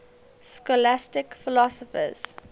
scholastic philosophers